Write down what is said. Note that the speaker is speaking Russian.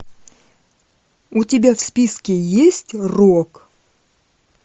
у тебя в списке есть рок